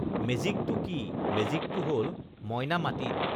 মেজিকটো কি মেজিকটো হল মইনা মাটিত